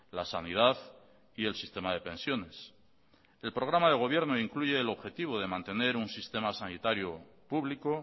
la sanidad y el sistema de pensiones el programa de gobierno incluye el objetivo de mantener un sistema sanitario público